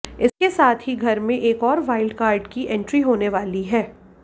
इसके साथ ही घर में एक और वाइल्ड कार्ड की एंट्री होने वाली है